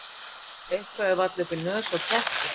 Eitthvað er varla upp í nös á ketti